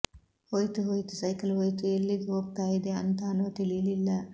ಹೋಯ್ತು ಹೋಯ್ತು ಸೈಕಲ್ ಹೋಯ್ತು ಎಲ್ಲಿಗ್ ಹೋಗ್ತಾ ಇದೆ ಅಂತಾನೊ ತಿಳೀಲಿಲ್ಲ